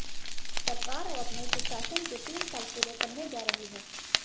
सरकार अब अपने सुशासन के तीन साल पूरे करने जा रही है